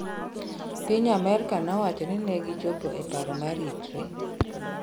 piny amerka nowachoni negichopo e paro mar ritre